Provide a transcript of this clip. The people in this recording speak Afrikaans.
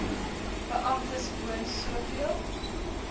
beamptes woon soveel